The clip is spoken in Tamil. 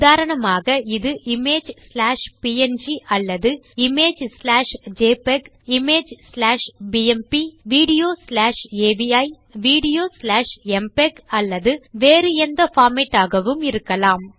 உதாரணமாக இது இமேஜ் ஸ்லாஷ் ப்ங் அல்லது image slash JPEG image slash BMP video slash AVI video slash MPEG அல்லது வேறு எந்த பார்மேட் ஆகவும் இருக்கலாம்